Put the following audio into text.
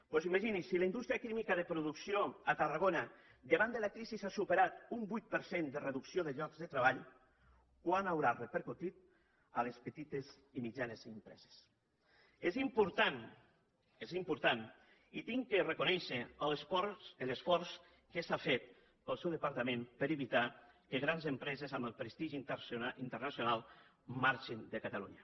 doncs imagini’s si la indústria química de producció a tarragona davant de la crisi ha superat un vuit per cent de reducció de llocs de treball quant deu haver repercutit a les petites i mitjanes empreses és important és important i he de reconèixer l’esforç que s’ha fet pel seu departament per evitar que grans empreses amb prestigi internacional marxin de catalunya